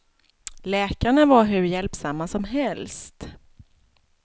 Läkarna var hur hjälpsamma som helst.